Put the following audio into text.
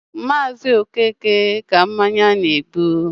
ọ bụ Maazi Okeke ka mmanya na-egbu.